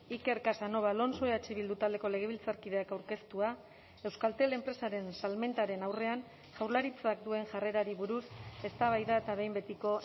iker casanova alonso eh bildu taldeko legebiltzarkideak aurkeztua euskaltel enpresaren salmentaren aurrean jaurlaritzak duen jarrerari buruz eztabaida eta behin betiko